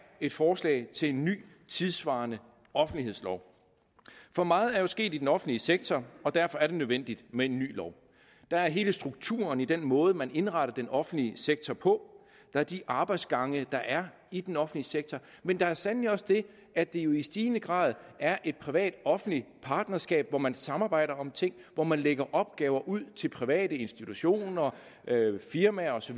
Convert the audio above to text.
et forslag til en ny tidssvarende offentlighedslov for meget er sket i den offentlige sektor og derfor er det nødvendigt med en ny lov der er hele strukturen i den måde man indretter den offentlige sektor på der er de arbejdsgange der er i den offentlige sektor men der er sandelig også det at det jo i stigende grad er et privat offentligt partnerskab hvor man samarbejder om ting hvor man lægger opgaver ud til private institutioner firmaer osv